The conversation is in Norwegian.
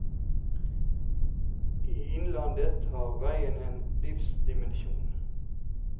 I innlandet har veien en livsdimensjon.